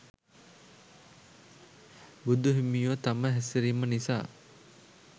බුදු හිමියෝ තම හැසිරීම නිසා